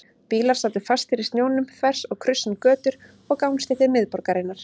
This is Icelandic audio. Bílar sátu fastir í snjónum þvers og kruss um götur og gangstéttir miðborgarinnar.